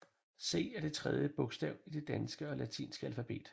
C er det tredje bogstav i det danske og latinske alfabet